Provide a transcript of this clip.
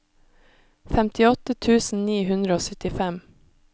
femtiåtte tusen ni hundre og syttifem